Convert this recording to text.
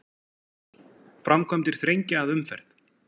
Framkvæmdir þrengja að umferð